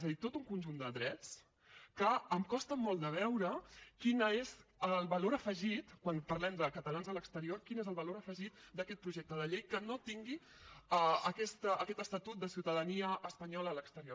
és a dir tot un conjunt de drets que em costa molt de veure quin és el valor afegit quan parlem de catalans a l’exterior d’aquest projecte de llei que no tingui aquest estatut de ciutadania espanyola a l’exterior